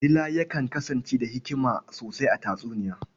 Dila yakan kasance da hikima sosai a tatsuniya.